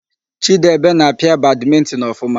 Chidebe na-apịa badmịntịn ọfụma.